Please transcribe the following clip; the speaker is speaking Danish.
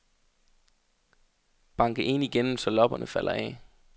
Banke en igennem så lopperne falder af.